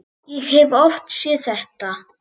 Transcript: Ég hef oft séð þetta.